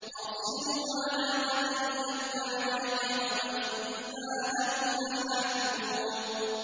أَرْسِلْهُ مَعَنَا غَدًا يَرْتَعْ وَيَلْعَبْ وَإِنَّا لَهُ لَحَافِظُونَ